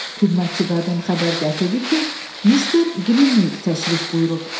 Xidmətçi qadın xəbər gətirdi ki, Mister Qrimviq təşrif buyurub.